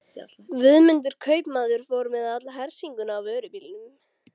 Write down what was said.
Guðmundur kaupmaður fór með alla hersinguna á vörubílnum.